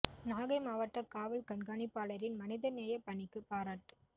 நாகை மாவட்டக் காவல் கண்காணிப்பாளரின் மனித நேயப் பணிக்குப் பாராட்டு